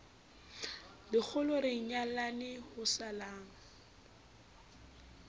lekgolo re nyalane ho salang